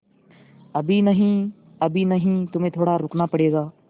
अभी नहीं अभी नहीं तुम्हें थोड़ा रुकना पड़ेगा